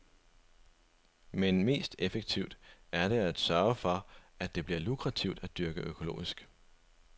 Men mest effektivt er det at sørge for, at det bliver lukrativt at dyrke økologisk.